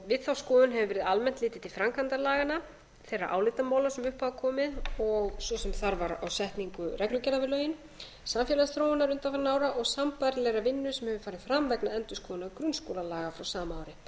við þá skoðun hefur verið almenn litið til framkvæmdar laganna þeirra álitamála sem upp hafa komið svo sem þarfar á setningu reglugerða við lögin samfélagsþróunar undanfarinna ára og sambærilegrar vinnu sem hefur farið fram vegna endurskoðunar grunnskólalaga frá sama ári þar er meðal annars